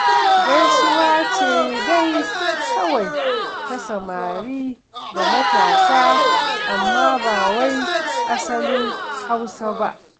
Gaisuwa ce dai kawai ta samari da matasa, amma ba wai asalin Hausa ba.